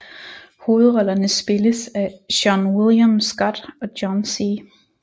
Hovedrollerne spilles af Seann William Scott og John C